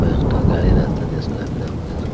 একটা গাড়ি রাস্তা দিয়ে চলাফেরা করে।